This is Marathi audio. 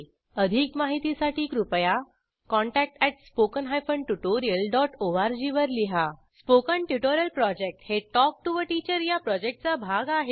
अधिक माहितीसाठी कृपया contact at spoken hyphen tutorial dot O R G वर लिहा स्पोकन ट्युटोरियल प्रॉजेक्ट हे टॉक टू टीचर या प्रॉजेक्टचा भाग आहे